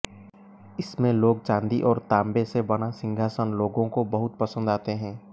इसमें लोग चांदी और तांबे से बना सिंहासन लोगों को बहुत पसंद आते हैं